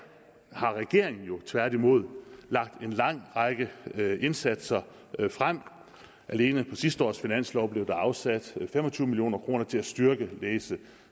har regeringen lagt en lang række indsatser frem alene på sidste års finanslov blev der afsat fem og tyve million kroner til at styrke læse